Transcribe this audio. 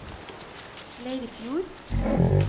Leirfjord